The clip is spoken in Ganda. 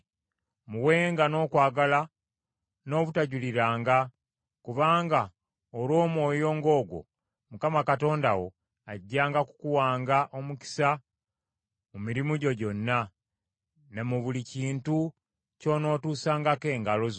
Muwenga n’okwagala n’obutajuliriranga, kubanga olw’omwoyo ng’ogwo, Mukama Katonda wo ajjanga kukuwanga omukisa mu mirimu gyo gyonna, ne mu buli kintu ky’onootuusangako engalo zo.